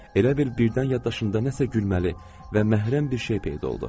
Elə bil birdən yaddaşında nəsə gülməli və məhrəm bir şey peyda oldu.